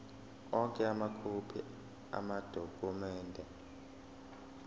onke amakhophi amadokhumende